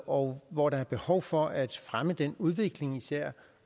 og hvor der er behov for at fremme en udvikling især